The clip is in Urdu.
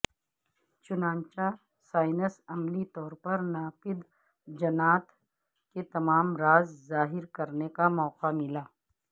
چنانچہ سائنس عملی طور پر ناپید جنات کے تمام راز ظاہر کرنے کا موقع ملا